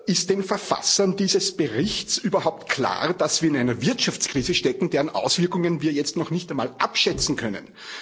Ist den Verfassern dieses Berichts überhaupt klar, dass wir in einer Wirtschaftskrise stecken, deren Auswirkungen wir jetzt noch nicht einmal abschätzen können?